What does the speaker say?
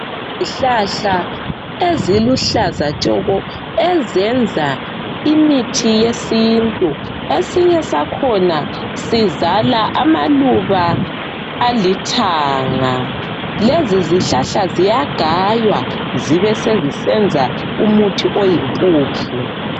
Izihlahla eziluhlaza tshoko! Ezenza imithi yesintu. Esinye sakhona, sizala amaluba alithanga. Lezizihlahla ziyagaywa. Zibesezisenza umuthi oyimpuphu,